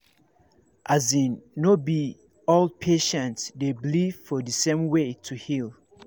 as in no be all patient dey believe for the same way to heal